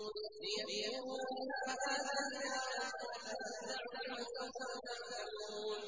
لِيَكْفُرُوا بِمَا آتَيْنَاهُمْ ۚ فَتَمَتَّعُوا فَسَوْفَ تَعْلَمُونَ